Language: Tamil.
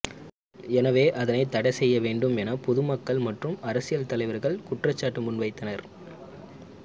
எனவே அதனை தடை செய்ய வேண்டும் என பொதுமக்கள் மற்றும்அரசியல் தலைவர்கள் குற்றச்சாட்டு முன்வைத்தனர்